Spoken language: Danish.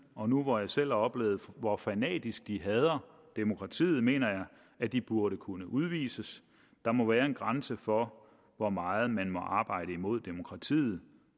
og nu hvor jeg selv har oplevet hvor fanatisk de hader demokratiet mener jeg at de burde kunne udvises der må være en grænse for hvor meget man må arbejde imod demokratiet